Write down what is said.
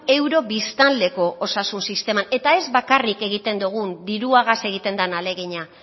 euro biztanleko osasun sisteman eta ez bakarrik egiten dogun diruagaz egiten den ahalegina